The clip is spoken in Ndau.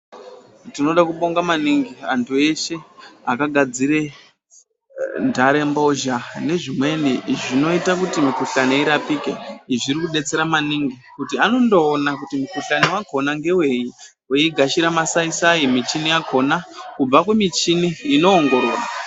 Tinode kubonga manaingi antu eshe akagadzire nharembozha nezvimweni zvinoite kuti mihkuhlani irapike izviri kudetsera maningi kuti anondoona kuti mukuhlani wakona ngewii, veigashira masaisai michini yakona kubva kumichini inoongorora.....